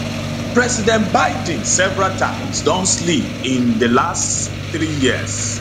president biden several times don slip in di last three years